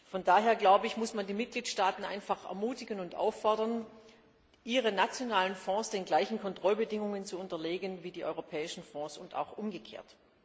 Von daher muss man die Mitgliedstaaten einfach ermutigen und auffordern, ihre nationalen Fonds den gleichen Kontrollbedingungen zu unterziehen wie die europäischen Fonds, und auch umgekehrt.